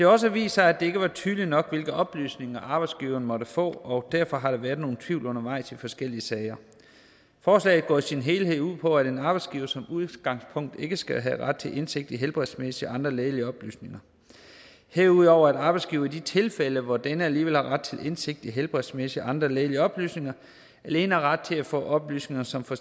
også vist sig at det ikke var tydeligt nok hvilke oplysninger arbejdsgiveren måtte få og derfor har der været nogen tvivl undervejs i forskellige sager forslaget går i sin helhed ud på at en arbejdsgiver som udgangspunkt ikke skal have ret til indsigt i helbredsmæssige og andre lægelige oplysninger herudover at arbejdsgiveren i de tilfælde hvor denne alligevel har ret til indsigt i helbredsmæssige og andre lægelige oplysninger alene har ret til at få oplysninger som for